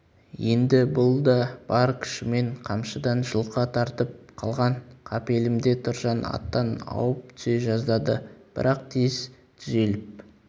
енді бұл да бар күшімен қамшыдан жұлқа тартып қалған қапелімде тұржан аттан ауып түсе жаздады бірақ тез түзеліп